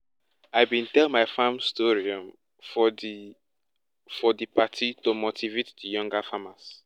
i bin tell my farm story um for di for di party to motivate di younger farmers